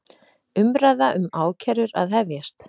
Umræða um ákærur að hefjast